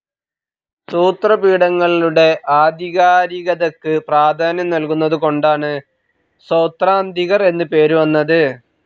സൂത്രപീഠങ്ങളുടെ ആധികാരികതയ്ക്ക് പ്രധാന്യം നൽകുന്നതുകൊണ്ടാണ് സൌത്രാന്തികർ എന്ന് പേര് വന്നത്.